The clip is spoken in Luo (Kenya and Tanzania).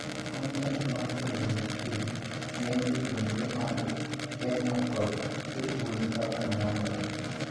Kontent mar puonjruok ir ng'eny jopuonjre mad Kenya kod jopuonj kaka nyalore.